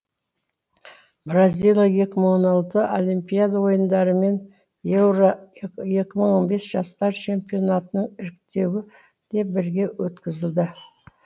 бразилия екі мың он алты олимпиада ойындары мен еуро екі мың он бес жастар чемпионатының іріктеуі де бірге өткізілді